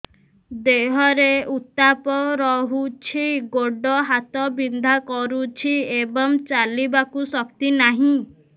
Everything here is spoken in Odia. ଦେହରେ ଉତାପ ରହୁଛି ଗୋଡ଼ ହାତ ବିନ୍ଧା କରୁଛି ଏବଂ ଚାଲିବାକୁ ଶକ୍ତି ନାହିଁ